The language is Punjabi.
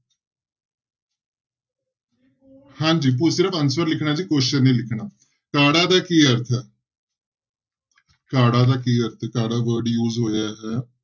ਹਾਂਜੀ ਤੁਸੀਂ ਸਿਰਫ਼ answer ਲਿਖਣਾ ਜੀ question ਨਹੀਂ ਲਿਖਣਾ, ਕਾੜਾ ਦਾ ਕੀ ਅਰਥ ਹੈ ਕਾੜਾ ਦਾ ਕੀ ਅਰਥ ਹੈ ਕਾੜਾ word use ਹੋਇਆ ਹੈ।